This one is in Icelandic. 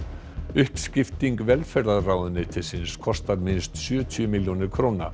uppskipting velferðarráðuneytisins kostar minnst sjötíu milljónir króna